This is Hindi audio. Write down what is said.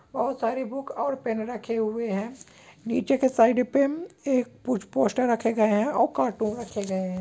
बोहोत सारी बुक्स और पेन रखे हुए है नीचे के साइड पे एक कुछ पोस्टर रखे गए है और कार्टून रखे हुए है।